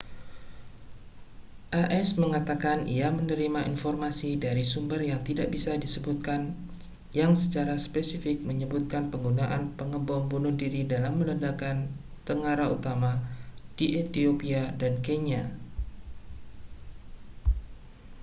as mengatakan ia menerima informasi dari sumber yang tidak bisa disebutkan yang secara spesifik menyebutkan penggunaan pengebom bunuh diri dalam meledakkan tengara utama di ethiopia dan kenya